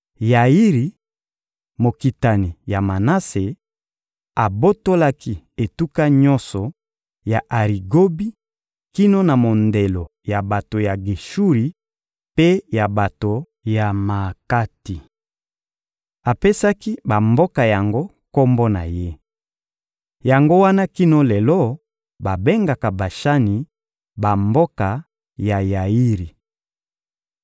Yairi, mokitani ya Manase, abotolaki etuka nyonso ya Arigobi kino na mondelo ya bato ya Geshuri mpe ya bato ya Maakati. Apesaki bamboka yango kombo na ye. Yango wana kino lelo babengaka Bashani bamboka ya Yairi.